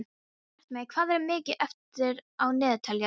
Bjartmey, hvað er mikið eftir af niðurteljaranum?